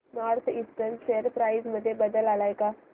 north eastern share price मध्ये बदल आलाय का